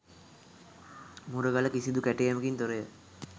මුරගල කිසිදු කැටයමකින් තොරය.